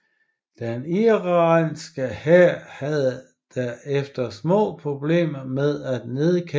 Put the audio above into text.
Den irakiske hær havde der efter små problemer med at nedkæmpe kurdisk modstand